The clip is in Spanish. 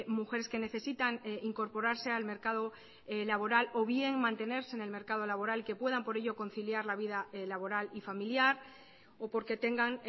mujeres que necesitan incorporarse al mercado laboral o bien mantenerse en el mercado laboral que puedan por ello conciliar la vida laboral y familiar o porque tengan